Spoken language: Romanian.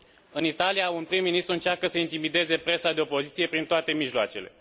În Italia, un prim ministru încearcă să intimideze presa de opoziție prin toate mijloacele.